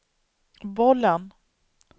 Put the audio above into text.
bollen